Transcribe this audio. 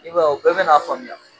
I b'a ye u bɛɛ bɛn'a faamuya.